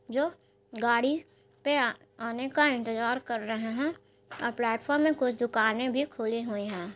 जो गाड़ी पे आ आने का इंतजार कर रहे हैं और प्लेटफार्म में कुछ दुकानें भी खुली हुई हैं।